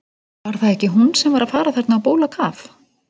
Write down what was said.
Var það ekki hún sem var að fara þarna á bólakaf?